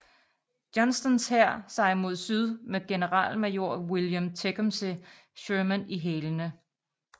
Johnstons hær sig mod syd med generalmajor William Tecumseh Sherman i hælene